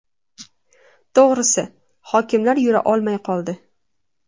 To‘g‘risi, hokimlar yura olmay qoldi.